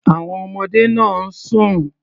Àwon ọmọdé náà ń sùn.